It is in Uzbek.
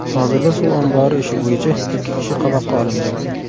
Hozirda suv ombori ishi bo‘yicha ikki kishi qamoqqa olingan .